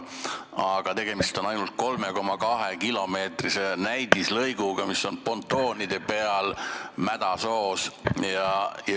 Aga tegemist on ainult 3,2-kilomeetrise näidislõiguga, mis on pontoonide peal mädasoos.